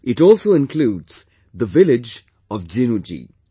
It also includes the village of Jinu Ji